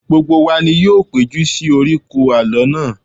Gbogbo wa ni yóò péjú sí oríkò alọ náà